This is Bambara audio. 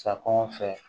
Sakɔ anw fɛ